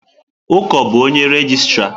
Uko bu onye regịstrá?